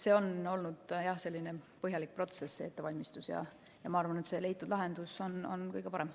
See on olnud, jah, selline põhjalik ettevalmistusprotsess ja ma arvan, et leitud lahendus on kõige parem.